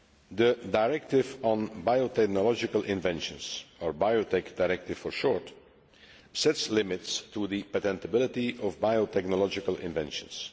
The Directive on Biotechnological Inventions, or Biotech Directive' for short, sets limits on the patentability of biotechnological inventions.